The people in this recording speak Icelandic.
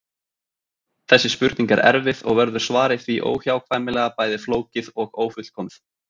Þessi spurning er erfið og verður svarið því óhjákvæmilega bæði flókið og ófullkomið.